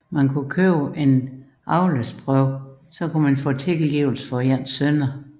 Ved at købe et afladsbrev kunne man få tilgivelse for synder